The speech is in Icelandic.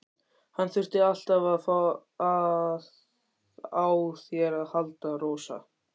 Hann þurfti alltaf á þér að halda, Rósa.